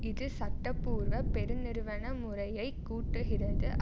இது சட்ட பூர்வ பெரு நிறுவன முறையை கூட்டுகிறது